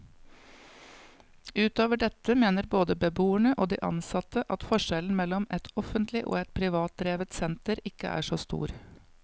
Utover dette mener både beboerne og de ansatte at forskjellen mellom et offentlig og et privatdrevet senter ikke er så stor.